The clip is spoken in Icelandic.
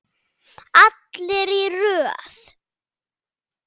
Allir í röð!